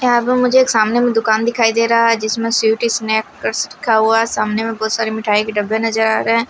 यहां पर मुझे एक सामने में दुकान दिखाई दे रहा हैजिसमें स्वीट स्नैकर्स लिखा हुआ है सामने में बहुत सारे मिठाई के डब्बे नजर आ रहे हैं।